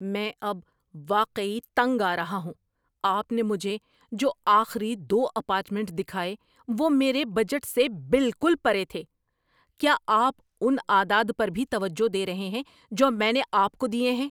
میں اب واقعی تنگ آ رہا ہوں۔ آپ نے مجھے جو آخری دو اپارٹمنٹ دکھائے وہ میرے بجٹ سے بالکل پرے تھے۔ کیا آپ ان اعداد پر بھی توجہ دے رہے ہیں جو میں نے آپ کو دیے ہیں؟